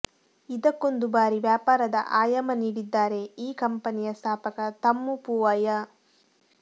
ಇದಕ್ಕೊಂದು ಭಾರಿ ವ್ಯಾಪಾರದ ಆಯಾಮ ನೀಡಿದ್ದಾರೆ ಈ ಕಂಪನಿಯ ಸ್ಥಾಪಕ ತಮ್ಮು ಪೂವಯ್ಯ